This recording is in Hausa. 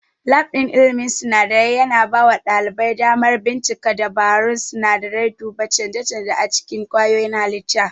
Lab ɗin ilmin sinadarai yana bawa ɗalibai damar bincika dabarun sinadarai, duba canje-canje a cikin kwayoyin halitta.